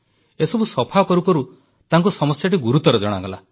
ଏସବୁ ସଫା କରୁ କରୁ ତାଙ୍କୁ ସମସ୍ୟାଟି ଗୁରୁତର ଜଣାଗଲା